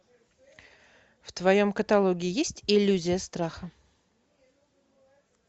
в твоем каталоге есть иллюзия страха